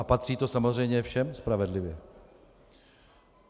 A patří to samozřejmě všem spravedlivě.